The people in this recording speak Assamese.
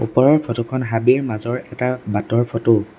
ওপৰৰ ফটো খন হাবিৰ মাজৰ এটা বাটৰ ফটো ।